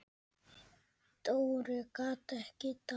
Dóri gat ekki dáið.